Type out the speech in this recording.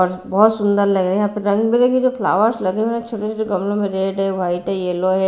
और बहुत सुन्दर लग रहे हैं यहाँ पर रंग बिरंगे जो फ्लावर्स लगे हैं ना छोटे छोटे गमलों में रेड हैं व्हाईट हैं यलो हैं।